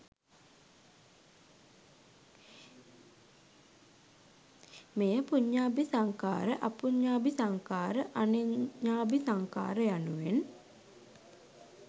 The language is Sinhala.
මෙය පුඤ්ඤාභි සංඛාර, අපුඤ්ඤාභි සංඛාර, අනෙඤ්ඤාභි සංඛාර යනුවෙන්